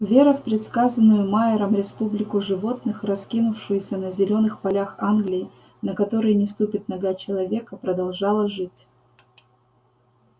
вера в предсказанную майером республику животных раскинувшуюся на зелёных полях англии на которые не ступит нога человека продолжала жить